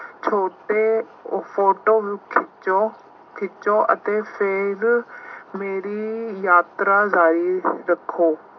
ਛੋਟੇ ਫੋਟੋ ਖਿੱਚੋ ਖਿੱਚੋ ਅਤੇ ਫੇਰ ਮੇਰੀ ਯਾਤਰਾ ਜਾਰੀ ਰੱੱਖੋ।